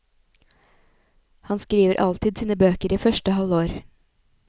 Han skriver alltid sine bøker i første halvår.